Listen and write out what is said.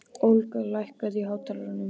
Olga, lækkaðu í hátalaranum.